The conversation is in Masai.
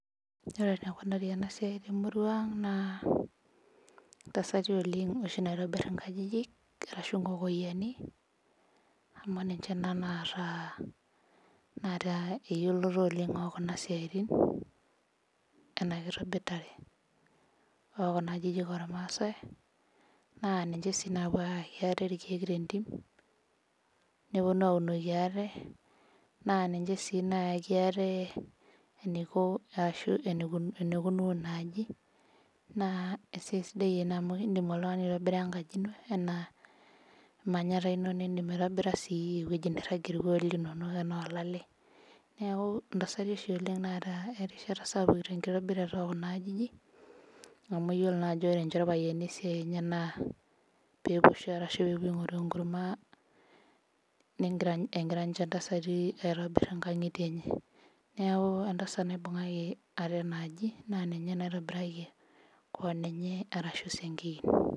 Ore enikunari enasiai temurua aag na ntasati oshi naitobir nkajijik ashu nkokoyiani amu ninche naata eyioloto oleng okuna siatin enakitobirata okuna ajijik ormaasai ninche napuo ayake ate tentim neponu aitobiraki ate na ninche naliki aatenenikunu inaaji amu indim aitobira enkaji ino nindim aitobira enkaji nairagir irkuon linono anaa olalae neaku ntasatu oshi naata esiai sapuk tenkitobirata ekuna ajijik amu ore oshi iroayiani na kepuo shoo ashu epuo aingoru emkurma neaku entasat naitobiraki keon enaaji ashu esiankiki.